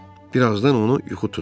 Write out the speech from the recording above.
Bir azdan onu yuxu tutdu.